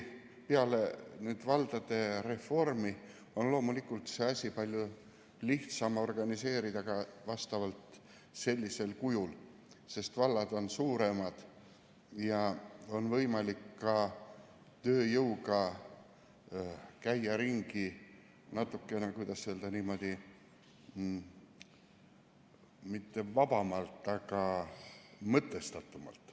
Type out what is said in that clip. Peale valdade reformi on loomulikult seda asja palju lihtsam organiseerida ka sellisel kujul, sest vallad on suuremad ja on võimalik ka tööjõuga käia ringi natuke, kuidas öelda, mitte vabamalt, aga mõtestatumalt.